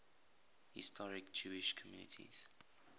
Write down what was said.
historic jewish communities